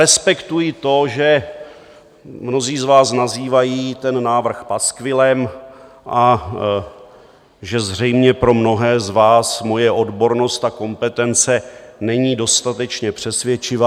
Respektuji to, že mnozí z vás nazývají ten návrh paskvilem a že zřejmě pro mnohé z vás moje odbornost a kompetence nejsou dostatečně přesvědčivé.